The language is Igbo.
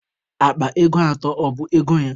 Akpa ego atọ, ọ bụ ego ya?